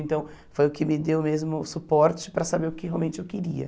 Então, foi o que me deu mesmo suporte para saber o que realmente eu queria.